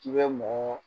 K'i bɛ mɔgɔ